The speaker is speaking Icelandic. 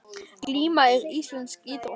Glíma er íslensk íþrótt.